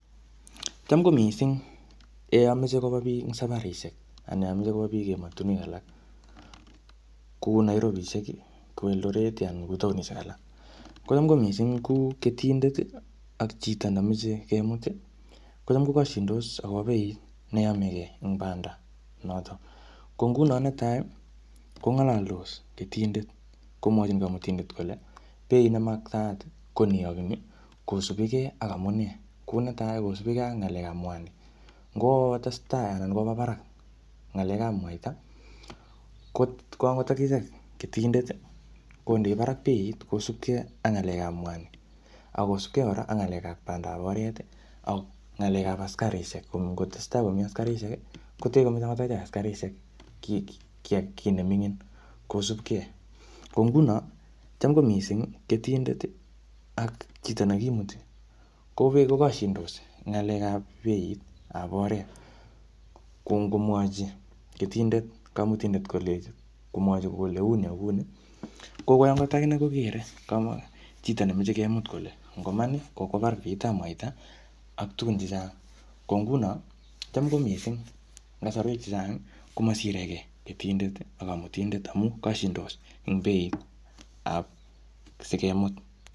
Cham ko missing, eng yameche koba biik safarisiek anan meche kob biik emotunwek alak kou Nairobisiek, Kou Eldoret anan kou taonishek alak. Kocham ko misssing ko ketindet ak chito nemeche kemut, kocham kokashindos akobo beit neyamege eng banda notok. Ko nguno netai, kongalaldos ketindet komwachin kamutindet kole beit ne maktaat ko nii ak nii, kosubikey ak amunee. Kou netai, kosubikei ak ng'alekap mwanik. Ngotestai anan koba barak ng'alekap mwaita, kot ko angot akichek ketindet, kondei barak beit kosubkei ang ng'alekap mwanik. Akosubkei kora ak ng'alekap banadab oret, ak ng'alekap askarishek. Ko ngotestai komii askarishek, kotee komeche angot achek askarishek kiy-kiy kiy ne mingin kosupkey. Ko nguno, cham ko kissing, ketindet ak chito nekimuti, kobee kokashindos ng'alekap beitap oret. Ko ngomwachi ketindet kamutindet koleji uni komwachi kole uni ak kouni, ko kokoi angot akinee kokere kamwa chito nemeche kemut kole ngoman kokwa barak beitap mwaita, ak tugun chechang. Ko nguno, cham ko missing, eng kasarwek chechang, komasirekei mutindet, ak kamutindet amuu kashindos eng beitap sikemut.